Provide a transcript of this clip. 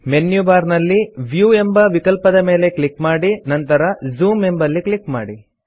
menu bar ನಲ್ಲಿ view ಎಂಬ ವಿಕಲ್ಪದ ಮೇಲೆ ಕ್ಲಿಕ್ ಮಾಡಿ ನಂತರ ಜೂಮ್ ಎಂಬಲ್ಲಿ ಕ್ಲಿಕ್ ಮಾಡಿ